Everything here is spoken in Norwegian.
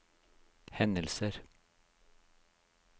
hendelser